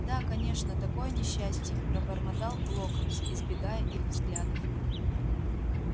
да конечно такое несчастье пробормотал локонс избегая их взглядов